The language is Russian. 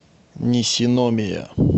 нисиномия